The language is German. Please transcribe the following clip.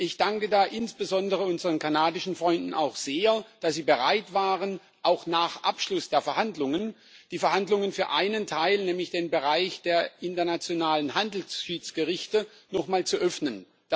Ich danke insbesondere unseren kanadischen Freunden auch sehr, dass sie bereit waren, auch nach Abschluss der Verhandlungen die Verhandlungen für einen Teil, nämlich den Bereich der internationalen Handelsschiedsgerichte, nochmal zu öffnen.